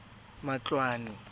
matloane